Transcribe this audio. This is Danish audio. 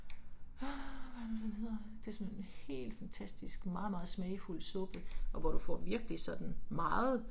Åh hvad er det nu den hedder. Det er sådan en helt fantastisk meget meget smagfuld suppe, og hvor du får virkelig sådan, meget